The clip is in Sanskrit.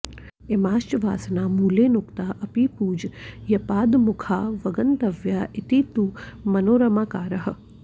इमाश्च वासना मूलेऽनुक्ता अपि पूज्यपादमुखावगन्तव्या इति तु मनोरमाकारः